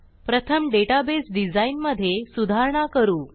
प्रथम database design मधे सुधारणा करू